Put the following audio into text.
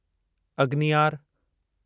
अग्नियार